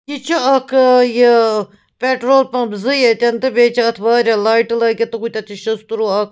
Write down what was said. یہِ چُھ اکھ ایہِ پیٹرول پمپ .زٕ ییٚتٮ۪ن تہٕ بیٚیہِ چھ اَتھ واریاہ لایٹہٕ لٲگِتھ تہٕ ہُتٮ۪تھ شستروٗ اکھ